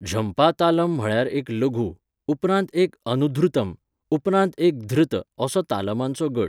झंपा तालम म्हळ्यार एक लघु, उपरांत एक अनुधृतम, उपरांत एक धृत असो तालमांचो गट.